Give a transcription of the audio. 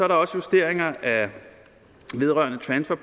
der også justeringer vedrørende transfer